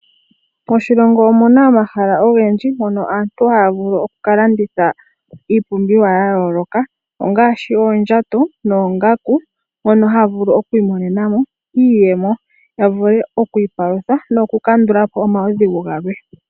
Moshilongo omuna omahala ogendji mono aantu haya vulu okulanditha iipumbiwa yayooloka ngaashi oondjato, noongaku. Mono ohaya vulu okwiimonena mo iiyemo ya vule okwiipalutha nokukandula po omaudhigu galwe.